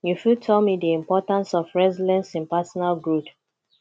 you fit tell me di importance of resilience in personal growth